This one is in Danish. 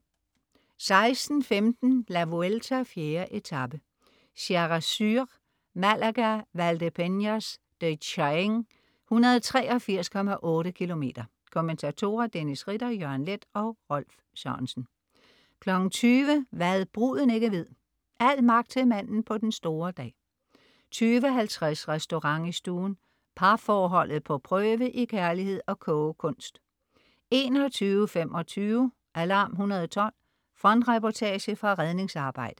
16.15 La Vuelta: 4. etape, Sierra Sur. Malaga-Valdepeñas de Jaén, 183,8 km. Kommentatorer: Dennis Ritter, Jørgen Leth og Rolf Sørensen 20.00 Hva' bruden ikke ved. Al magt til manden på den store dag 20.50 Restaurant i stuen. Parforholdet på prøve i kærlighed og kogekuns 21.25 Alarm 112. Frontreportage fra redningsarbejdet